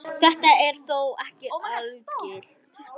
Þetta er þó ekki algilt.